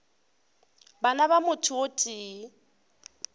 bana ba motho o tee